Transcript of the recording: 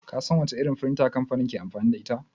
Ka san wace irin firinta kamfanin suke amfani da ita?